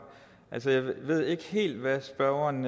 jeg ved ikke helt hvad spørgeren